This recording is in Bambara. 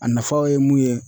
A nafaw ye mun ye